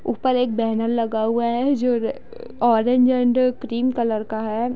ऊपर एक बैनर लगा हुआ है जो ऑरेंज एंड क्रीम कलर का है।